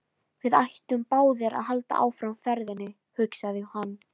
Við ættum báðir að halda áfram ferðinni, hugsaði hann.